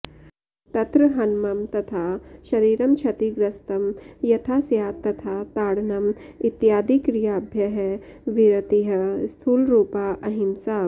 तत्र हनमं तथा शरिरं क्षतिग्रस्तं यथा स्यात् तथा ताडनम् इत्यादिक्रियाभ्यः विरतिः स्थूलरुपा अहिम्सा